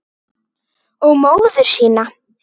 Og móður sína.